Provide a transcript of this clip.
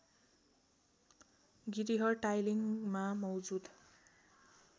गिरिह टाइलिङ्गमा मौजूद